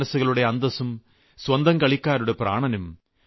കോടാനുകോടി മനസ്സുകളുടെ അന്തസ്സും സ്വന്തം കളികളുടെ പ്രാണനും